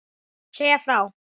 Segja frá.